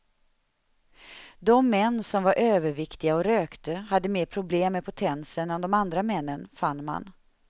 De män som var överviktiga och rökte hade mer problem med potensen än de andra männen, fann man.